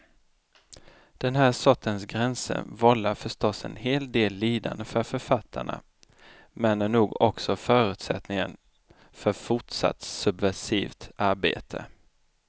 Den här sortens gränser vållar förstås en hel del lidande för författarna men är nog också förutsättningen för fortsatt subversivt arbete.